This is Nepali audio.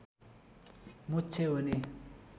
मोक्ष हुने